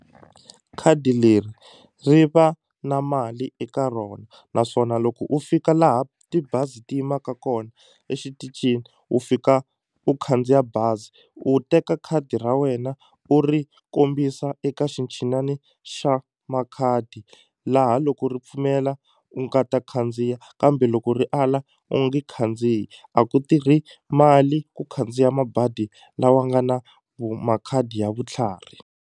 Khadi leri ri va na mali eka rona naswona loko u fika laha tibazi ti yimaka kona exitichini u fika u khandziya bazi u teka khadi ra wena u ri kombisa eka xinchinani xa makhadi laha loko ri pfumela u nga ta khandziya kambe loko ri ala u nge khandziyi a ku tirhi mali ku khandziya mabadi lawa nga na makhadi ya vutlhari.